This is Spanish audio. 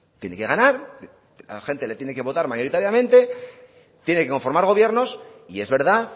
tiene que ganar la gente le tiene que votar mayoritariamente tiene que conformar gobiernos y es verdad